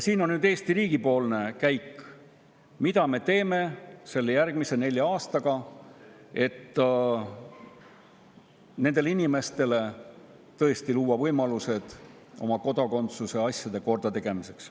See on nüüd Eesti riigi poolt käik, mille me teeme selle järgmise nelja aastaga, et nendele inimestele luua tõesti võimalused oma kodakondsuse asjad korda teha.